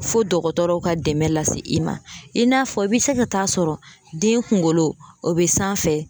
Fo dɔgɔtɔrɔw ka dɛmɛ lase i ma. I n'a fɔ i bɛ se ka taa sɔrɔ den kunkolo o bɛ sanfɛ